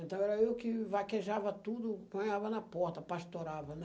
Então, era eu que vaquejava tudo, banhava na porta, pastorava, né?